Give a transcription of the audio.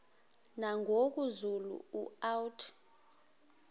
nangoku zulu uauthi